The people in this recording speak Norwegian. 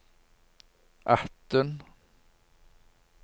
atten